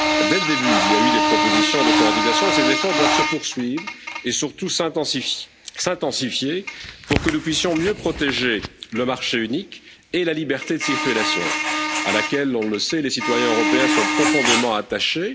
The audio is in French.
Dès le début, des propositions de coordination ont été présentés et ces efforts doivent se poursuivre et surtout s'intensifier pour que nous puissions mieux protéger le marché unique et la liberté de circulation à laquelle, on le sait, les citoyens européens sont profondément attachés.